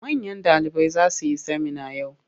Manyan ɗalibai za su yi semina yau.